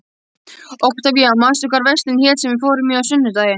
Októvía, manstu hvað verslunin hét sem við fórum í á sunnudaginn?